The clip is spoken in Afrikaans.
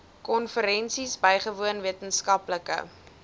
konferensies bygewoon wetenskaplike